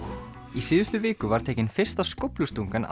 í síðustu viku var tekin fyrsta skóflustungan